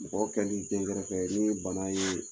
Mɔgɔ kɛlen densɔrɔ kɛ ni bana ye